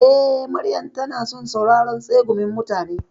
Eh, Maryam tana son sauraron tsegumin mutane.